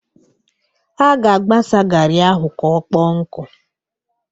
A ga-agbasa garị ahụ ka ọkpọọ nkụ.